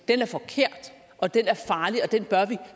er forkert og den er farlig og den bør vi